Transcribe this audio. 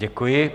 Děkuji.